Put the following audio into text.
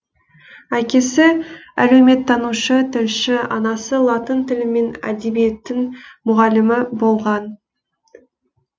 әкесі әлеуметтанушы тілші анасы латын тілі мен әдебиетінің мұғалімі болған